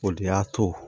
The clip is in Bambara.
O de y'a to